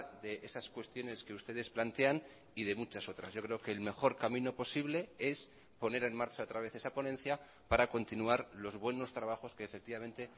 de esas cuestiones que ustedes plantean y de muchas otras yo creo que el mejor camino posible es poner en marcha otra vez esa ponencia para continuar los buenos trabajos que efectivamente